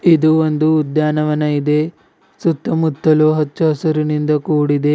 ಇದು ಒಂದು ಉದ್ಯಾನವನ ಇದೆ ಸುತ್ತಮುತ್ತಲು ಹಚ್ಚಹಸಿರಿನಿಂದ ಕೂಡಿದೆ.